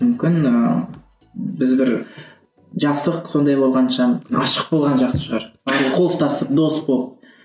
мүмкін ііі біз бір жасық сондай болғанша ғашық болған жақсы шығар қол ұстасып дос болып